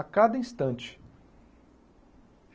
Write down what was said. A cada instante.